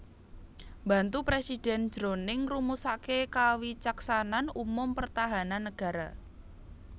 Mbantu Presiden jroning ngrumusaké kawicaksanan umum pertahanan negara